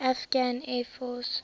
afghan air force